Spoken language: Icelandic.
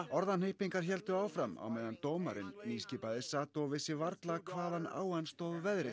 orðahnippingar héldu áfram á meðan dómarinn nýskipaði sat og vissi varla hvaðan á hann stóð veðrið